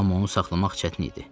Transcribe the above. Amma onu saxlamaq çətin idi.